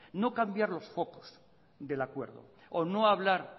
no cambiar los focos del acuerdo o no hablar